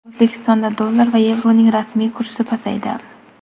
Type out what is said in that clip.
O‘zbekistonda dollar va yevroning rasmiy kursi pasaydi.